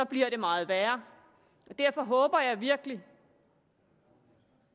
bliver det meget værre derfor håber jeg virkelig